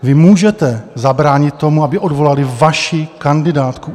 Vy můžete zabránit tomu, aby odvolali vaši kandidátku.